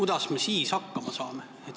Kuidas me siis hakkama saame?